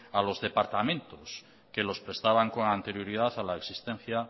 a los departamentos que los prestaban con anterioridad a la existencia